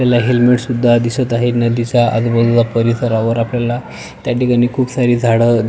त्याला हेल्मेटसुद्धा दिसत आहे नदीचा आजूबाजूचा परिसर आहे त्या ठिकाणी खूप सारी झाड--